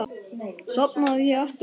Sofnaði ég aftur?